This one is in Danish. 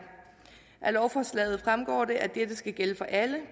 af lovforslaget fremgår det at det skal gælde for alle